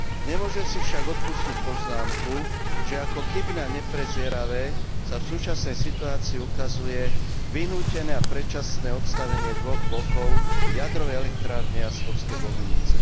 Nemôžem si však odpustiť poznámku, že ako chybné a neprezieravé sa v súčasnej situácii ukazuje vynútené a predčasné odstavenie dvoch blokov jadrovej elektrárne Jaslovské Bohunice.